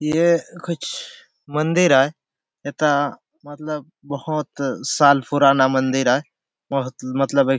ए कुछ मंदिर आय एथा मतलब बहोत साल पुराना मंदिर आय बहोत मतलब ये --